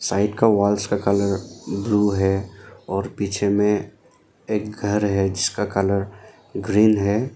Side का walls का colour blue है और पीछे में एक घर है जिसका कलर ग्रीन है।